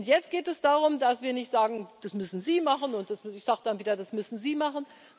Jetzt geht es darum, dass wir nicht sagen Das müssen Sie machen, und ich sage dann wieder Das müssen Sie machen.